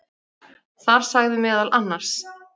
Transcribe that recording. Þar sagði meðal annars